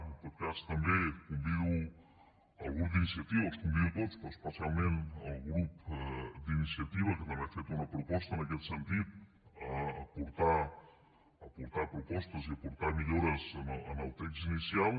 en tot cas també convido el grup d’iniciativa els convido a tots però especialment el grup d’iniciativa que també ha fet una proposta en aquest sentit a aportar propostes i a aportar millores en el text inicial